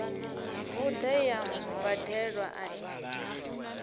vhuṋe ya mubadelwa a i